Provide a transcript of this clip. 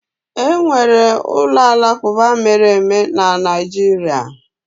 Enwere ụlọ alakụba mere eme na Naịjirịa.